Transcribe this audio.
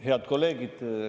Head kolleegid!